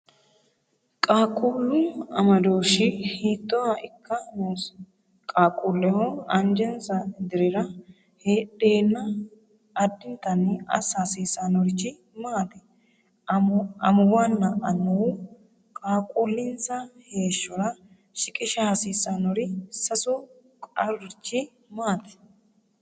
Qaaqquullu amadooshshi hiittooha ikka noosi? Qaaqquulleho anjesa dirira heedheenna addintanni assa hasiisannorichi maati? Amuwunna annuwu qaaqquullinsa heeshshora shiqisha hasiissannori sasu qarurichi maati?